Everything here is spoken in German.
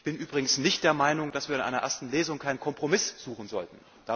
Ich bin im Übrigen nicht der Meinung, dass wir in einer ersten Lesung keinen Kompromiss suchen sollten.